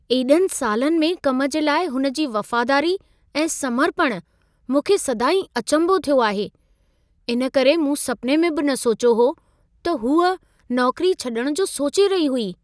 एॾनि सालनि में कम जे लाइ हुन जी वफ़ादारी ऐं समर्पण मूंखे सदाईं अचंभो थियो आहे, इन करे मूं सपिने में बि न सोचियो हो त हूअ नौकरी छॾण जो सोचे रही हुई।